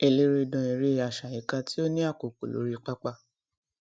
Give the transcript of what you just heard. eléré dán eré àsáyíká tí ó ní àkókò lórí pápá